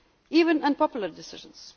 them. Even unpopular